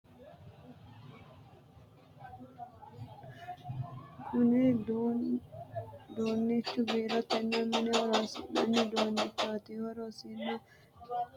Kunni duunichi biirotenna mine horoonsi'nanni uduunnichooti. Horosino ba'anonna hiiqamanno uduune mareekirateeti. Konne uduune loonsannihu haqunninna siwiilunniiti. Konne uduune loonsannihu angate ogimmanninna maashineteeti.